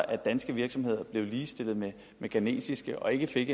at danske virksomheder blev ligestillet med ghanesiske og ikke fik